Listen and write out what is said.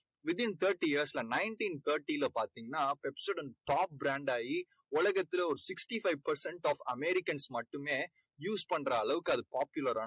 within thirty years ல nineteen thirty ல பார்த்தீங்கன்னா Pepsodent top brand ஆகி உலகத்துல ஒரு sixty five percent top amaericans மட்டுமே use பண்ற அளவுக்கு அது popular